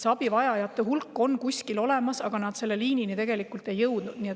See abivajajate hulk on kuskil olemas, aga selle liinini nad tegelikult ei jõudnud.